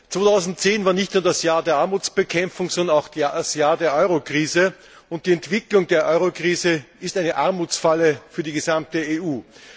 2010 war nicht nur das Jahr der Armutsbekämpfung, sondern auch das Jahr der Euro Krise und die Entwicklung der Euro Krise ist eine Armutsfalle für die gesamte EU.